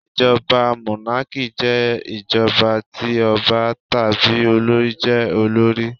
Ìjọba mónákì jẹ́ ìjọba ti ọba tàbí olorì jé olórí